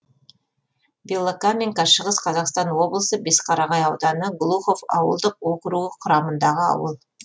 белокаменка шығыс қазақстан облысы бесқарағай ауданы глухов ауылдық округі құрамындағы ауыл